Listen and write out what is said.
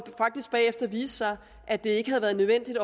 faktisk bagefter viste sig at det ikke havde været nødvendigt